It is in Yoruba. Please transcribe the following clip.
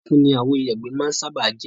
Funfun ni àwo ìyàgbẹ́ máa ń sábáà jẹ́.